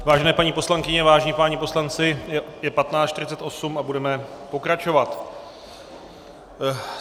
Vážené paní poslankyně, vážení páni poslanci, je 15.48 a budeme pokračovat.